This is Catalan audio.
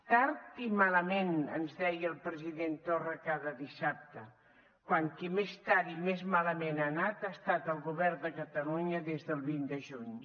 tard i malament ens deia el president torra cada dissabte quan qui més tard i més malament ha anat ha estat el govern de catalunya des del vint de juny